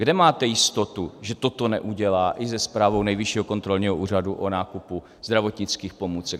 Kde máte jistotu, že toto neudělá i se zprávou Nejvyššího kontrolního úřadu o nákupu zdravotnických pomůcek?